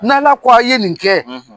N'Ala ko a ye nin kɛ?